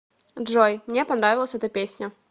джой мне понравилась эта песня